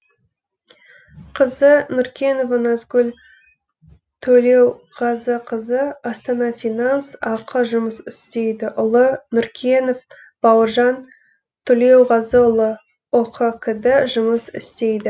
қызы нұркенова назгүл төлеуғазықызы астана финанс ақ жұмыс істейді ұлы нұркенов бауыржан төлеуғазыұлы ұқкд жұмыс істейді